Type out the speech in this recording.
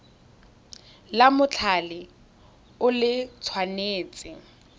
la mothale o le tshwanetse